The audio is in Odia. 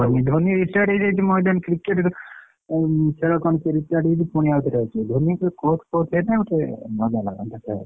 ଧୋନୀ retired ହେଇଯାଇଛି ମଇଦାନ Cricket ଖେଳ କଣ ସେ retired ହେଇଛି ଫୁଣି ଆଉ ଥରେ ଆସିବ ଧୋନୀ କୁ course forse ହେନେ ଗୋଟେ ମଜା ଲାଗନ୍ତା ଖେଳ ରେ।